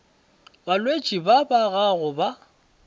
balwetši ba ba gago ba